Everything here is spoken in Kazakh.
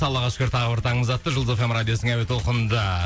аллаға шүкір тағы бір таңымыз атты жұлдыз эф эм радиосының әуе толқынында